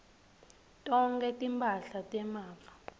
tonkhe timphahla temafa